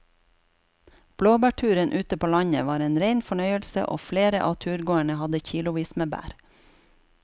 Blåbærturen ute på landet var en rein fornøyelse og flere av turgåerene hadde kilosvis med bær.